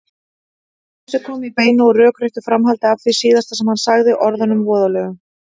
Brosið kom í beinu og rökréttu framhaldi af því síðasta sem hann sagði, orðunum voðalegu.